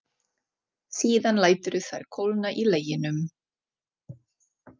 Síðan læturðu þær kólna í leginum.